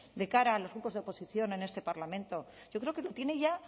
de cara a los grupos de oposición en este parlamento yo creo que lo tiene ya